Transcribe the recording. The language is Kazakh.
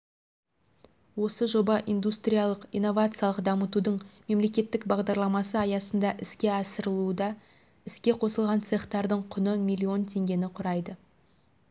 осы жоба индустриялық-инновациялық дамытудың мемлекеттік бағдарламасы аясында іске асырылуда іске қосылған цехтардың құны миллион теңгені құрайды